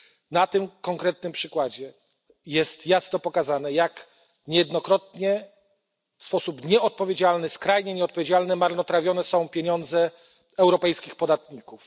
Na tym konkretnym przykładzie jest jasno pokazane, jak niejednokrotnie w sposób skrajnie nieodpowiedzialny marnotrawione są pieniądze europejskich podatników.